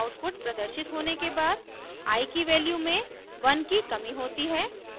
output प्रदर्शित होने के बाद i की वैल्यू में 1 की कमी होती है